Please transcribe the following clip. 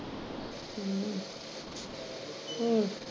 ਹਮ ਹੋਰ?